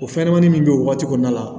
O fɛnɲɛnɛmanin min bɛ o waati kɔnɔna la